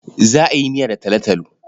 Za a yi miya da talotalo.